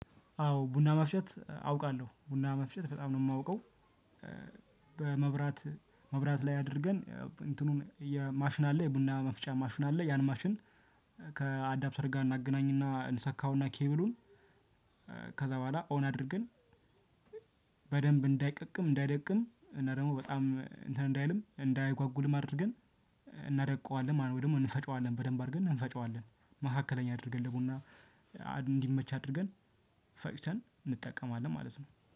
አዎ ቡና መፍጨት አውቃለሁ ቡና መፍጨት በጣም ነው የማውቀው። በመብራት መብራት ላይ አድርገን እንትኑን የ ማሽን አለ የቡና መፍጫ ማሽን አለ ያን ማሽን። ከአዳፕተር ጋር እናገናኝና እንሰካውና ኬብሉን። ከዛ በኋላ ኦን አድርገን። በደንብ እንዳይደቅም እንዳይደቅም እና ደግሞ በጣም እንትን እንዳይልም እንዳይጓጉልም አድርገን እናደቀዋለን ማለት ነው። ወይ ደግሞ እንፈጨዋለን በደንብ አድርገን እንፈጨዋለን። መካከለኛ አድርገን ለቡና እንዲመች አድርገን ፈጭተን እንጠቀማለን ማለት ነው